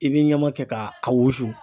I bi ɲama kɛ k'a a wusu.